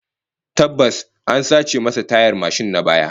Tabbas, an sace masa tayar mashin na baya